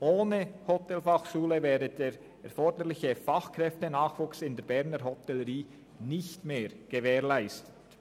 Ohne Hotelfachschule wäre der erforderliche Fachkräftenachwuchs nicht mehr gesichert.